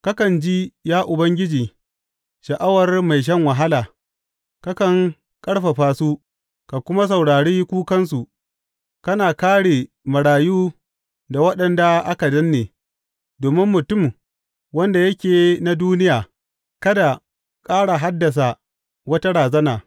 Kakan ji, ya Ubangiji sha’awar mai shan wahala; kakan ƙarfafa su, ka kuma saurari kukansu, kana kāre marayu da waɗanda aka danne, domin mutum, wanda yake na duniya kada ƙara haddasa wata razana.